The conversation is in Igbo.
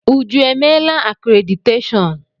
Uju emeela akréditeshọọn?